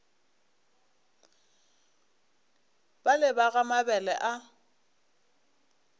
bale ba ga mabele ba